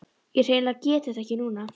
Ég hreinlega get þetta ekki núna.